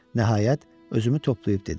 Nəhayət, özümü toplayıb dedim: